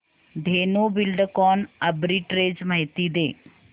Dhenu Buildcon arbitrage माहिती दे